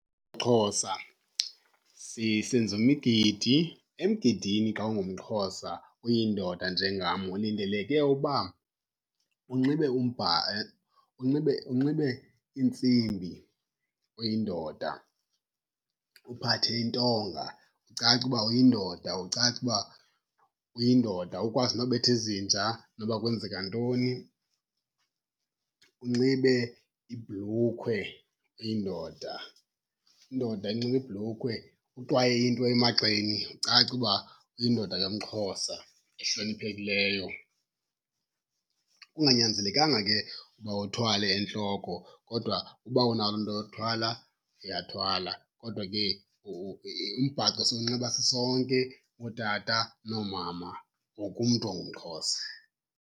MXhosa senza imigidi. Emgidini xa ungumXhosa uyindoda njengam, ulindeleke uba unxibe unxibe unxibe iintsimbi uyindoda, uphathe intonga ucace uba uyindoda, ucace uba uyindoda ukwazi nobetha izinja noba kwenzeka ntoni. Unxibe ibhlukhwe uyindoda, indoda inxiba ibhlukhwe. Uxwaye into emagxeni ucace uba uyindoda yomXhosa ehloniphekileyo. Kunganyanzelekanga ke uba uthwale entloko kodwa uba unayo into yothwala, uyathwala. Kodwa ke umbhaco siyinxiba sisonke ootata noomama, wonke umntu ongumXhosa.